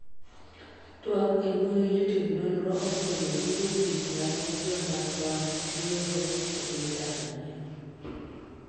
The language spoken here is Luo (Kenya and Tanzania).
twak embui jotim nonro ofwenyo gige tich mane joma chon tiyogo e piny Tanzania